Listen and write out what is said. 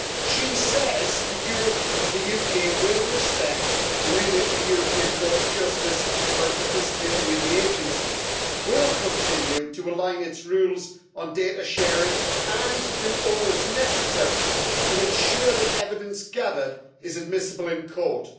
She says the UK will respect the remit of the European Court of Justice when participating in the agencies, will continue to align its rules on data sharing and will do all that is necessary to ensure that evidence gathered is admissible in court.